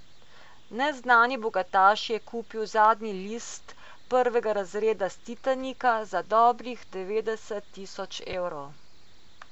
Neznani bogataš je kupil zadnji jedilni list prvega razreda s Titanika za dobrih devetdeset tisoč evrov.